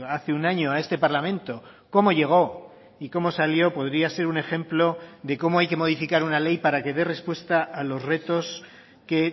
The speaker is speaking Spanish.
hace un año a este parlamento cómo llegó y cómo salió podría ser un ejemplo de cómo hay que modificar una ley para que dé respuesta a los retos que